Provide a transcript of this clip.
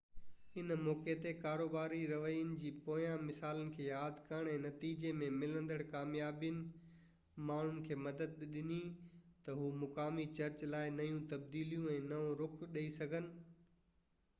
ان موقعي تي ڪاروباري رويي جي پوئين مثالن کي ياد ڪرڻ ۽ نتيجي ۾ ملندڙ ڪاميابين ماڻهن کي مدد ڏني ته هو مقامي چرچ لاءِ نيون تبديليون ۽ نئون رخ ڏئي سگهن